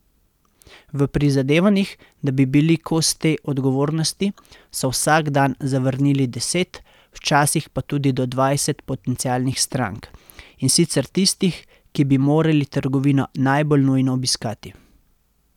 V prizadevanjih, da bi bili kos tej odgovornosti, so vsak dan zavrnili deset, včasih pa tudi do dvajset potencialnih strank, in sicer tistih, ki bi morali trgovino najbolj nujno obiskati.